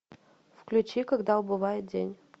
включи когда убывает день